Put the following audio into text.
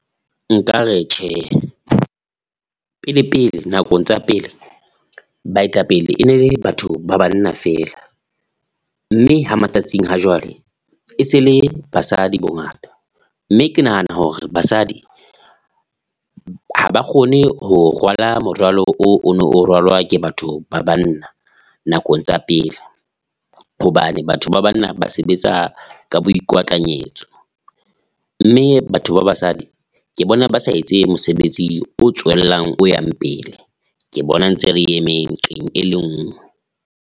Nkare tjhe pele pele, nakong tsa pele baetapele e ne le batho ba banna feela mme ha matsatsing ha jwale e se le basadi bongata mme ke nahana hore basadi, ha ba kgone ho rwala morwalo o ono rwalwa ke batho ba banna nakong tsa pele. Hobane, batho ba banna ba sebetsa ka boikwatlanyetso mme batho ba basadi ke bona ba sa etse mosebetsi o tswellang o yang pele. Ke bona ntse re emeng nqeng e le nngwe.